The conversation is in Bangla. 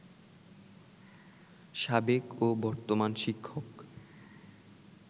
সাবেক ও বর্তমান শিক্ষক